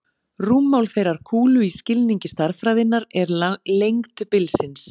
Rúmmál þeirrar kúlu í skilningi stærðfræðinnar er lengd bilsins.